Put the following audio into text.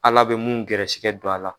Ala bɛ mun garisɛgɛ don a la